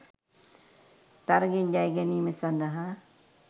තරගයෙන් ජයගැනීම සඳහා